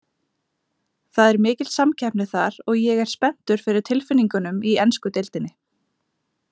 Það er mikil samkeppni þar, og ég er spenntur fyrir tilfinningunum í ensku deildinni.